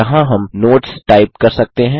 यहाँ हम notes type कर सकते हैं